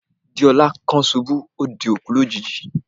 Deola kan ṣubu, o dẹ̀ kú lójijì.